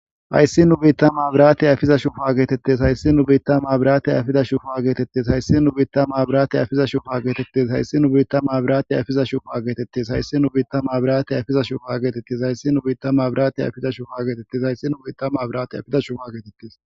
Hayssi nu biittama abraati afiza shufaa geetettes hayssi nu biittam abiraate ayfida shufaa geetettes hayssi nu biittama abiraate afiza shufa geetettes hayssi nu biittama abiraati ayfiza shufaa geetettes hayssi nu biittam abiraate ayfiza shufa geetettes hayssi nu biittama abrate ayfiza shufaageetettes hayssi nu biittama abrate ayfida shufa geetettes.